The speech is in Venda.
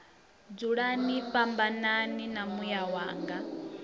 dzulani fhambanani na muya wanga